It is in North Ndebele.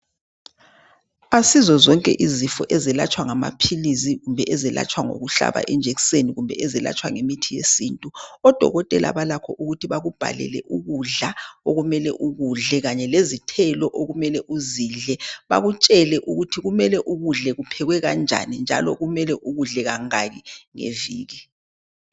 Asizozonke izifo ezelatshwa ngamaphilisi kumbe ezelatshwa ngokuhlaba ijekiseni kumbe ezelatshwa ngemithi yesintu. Odokotela balakho ukuthi bakubhalele ukudla okumele ukudle Kanye lezithelo okumele uzidle bakutshele ukuthi kumele ukudle kuphekwe kanjani njalo kumele ukudle kangaki ngeviki